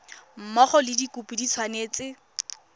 mmogo le dikopo di tshwanetse